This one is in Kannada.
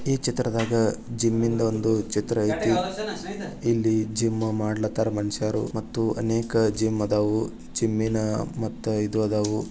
ಈ ಚಿತ್ರದಾಗ ಜಿಮ್ಮಿನದು ಒಂದು ಚಿತ್ರ ಆಯ್ತು ಇಲ್ಲಿ ಜಿಮ್ಮ ಮಾಡಲತರ ಮನುಷ್ಯರು ಮತ್ತು ಅನೇಕ ಜಿಮ್ ಇದವು ಜಿಮ್ಮಿನ ಮತ್ತು ಇದು ಇದವು.